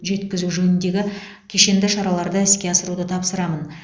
жеткізу жөніндегі кешенді шараларды іске асыруды тапсырамын